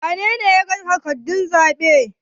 wanene ya yaga takardun zaɓen?